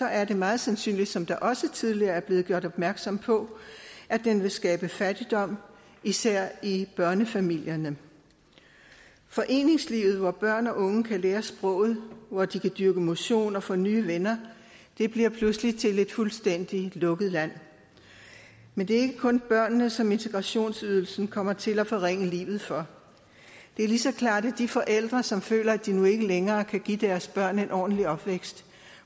er det meget sandsynligt som der også tidligere er blevet gjort opmærksom på at den vil skabe fattigdom især i børnefamilierne foreningslivet hvor børn og unge kan lære sproget hvor de kan dyrke motion og få nye venner bliver pludselig til et fuldstændig lukket land men det er ikke kun børnene som integrationsydelsen kommer til at forringe livet for det er lige så klart at de forældre som føler at de nu ikke længere kan give deres børn en ordentlig opvækst